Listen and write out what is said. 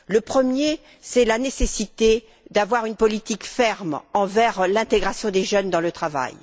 Le premier, c'est la nécessité d'avoir une politique ferme envers l'intégration des jeunes dans le travail.